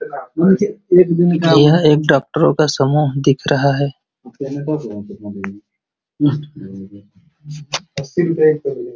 यह एक डाक्टरों का समूह दिख रहा है।